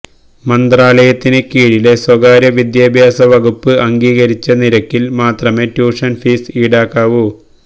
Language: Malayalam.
മന്ത്രാലയത്തിന് കീഴിലെ സ്വകാര്യ വിദ്യാഭ്യാസ വകുപ്പ് അംഗീകരിച്ച നിരക്കില് മാത്രമേ ട്യൂഷന് ഫീസ് ഈടാക്കാവു